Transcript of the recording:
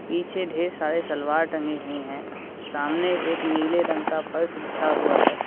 पीछे ढेर सारे सलवार टंगे हुए हैं सामने एक नीले रंग का फर्श बिछा हुआ है।